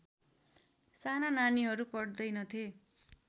साना नानीहरू पढ्दैनथे